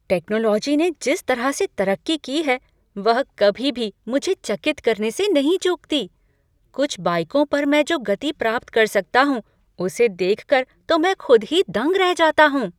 Technology ने जिस तरह से तरक्की की है वह कभी भी मुझे चकित करने से नहीं चूकती। कुछ बाइकों पर मैं जो गति प्राप्त कर सकता हूँ उसे देखकर तो मैं खुद ही दंग रह जाता हूँ।